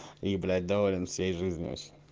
и блять доволен всей жизнью